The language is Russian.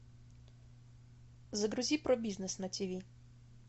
загрузи про бизнес на тиви